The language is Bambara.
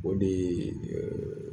O dee